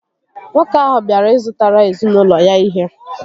Nwoke ahụ bịara ị zụtara ezinaụlọ ya ihe